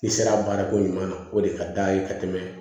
I sera a baarako ɲuman na o de ka d'a ye ka tɛmɛ